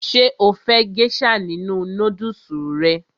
Ṣé o fẹ́ gésà nínu nódùsù rẹ?